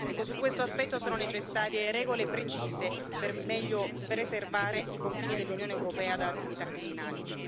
Ecco, su questo aspetto sono necessarie regole precise, per meglio preservare i confini dell'Unione europea da attività criminali.